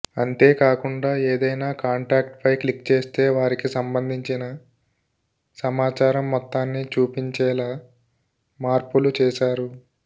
అంతేకాకుండా ఏదైనా కాంటాక్ట్పై క్లిక్ చేస్తే వారికి సంబంధించిన సమాచారం మొత్తాన్ని చూపించేలా మార్పులు చేశారు